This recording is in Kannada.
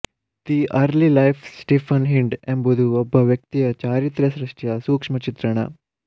the early life Stephen Hind ಎಂಬುದು ಒಬ್ಬ ವ್ಯಕ್ತಿಯ ಚಾರಿತ್ರ್ಯ ಸೃಷ್ಟಿಯ ಸೂಕ್ಷ್ಮ ಚಿತ್ರಣ